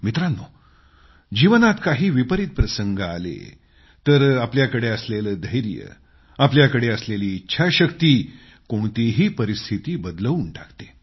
मित्रांनो जीवनात काही विपरीत प्रसंग आले तर आपल्याकडे असलेलं धैर्य आपल्याकडे असलेली इच्छाशक्ती कोणतीही परिस्थिती बदलवून टाकते